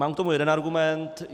Mám k tomu jeden argument.